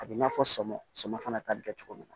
A b'i n'a fɔ sami sɔ fana ta bi kɛ cogo min na